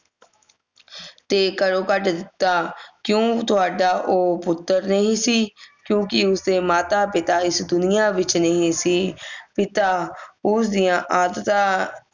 ਤੇ ਘਰੋਂ ਕੱਢ ਦਿੱਤਾ ਕਿਉਂ ਤੁਹਾਡਾ ਉਹ ਪੁੱਤਰ ਨਹੀਂ ਸੀ ਕਿਓਂਕਿ ਉਸ ਦੇ ਮਾਤਾ ਪਿਤਾ ਇਸ ਦੁਨੀਆਂ ਵਿਚ ਨਹੀਂ ਸੀ ਪਿਤਾ ਉਸ ਦੀਆਂ ਆਦਤਾਂ